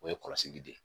O ye kɔlɔsili de ye